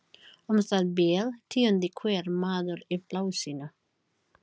Um það bil tíundi hver maður í plássinu.